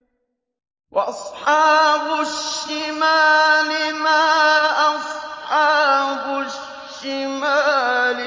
وَأَصْحَابُ الشِّمَالِ مَا أَصْحَابُ الشِّمَالِ